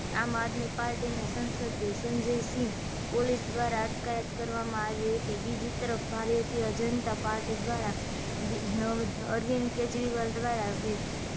આમ આદમી પાર્ટી ના સંસદ સંજયસિંહ પોલીસ દ્વારા અટકાયત કરવામા આવી હતી બીજી તરફ ભારતીય જનતા પાર્ટી દ્વારા અરવિંદ કેજરીવાલ દ્વારા વિ